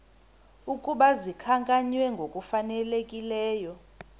ukuba zikhankanywe ngokufanelekileyo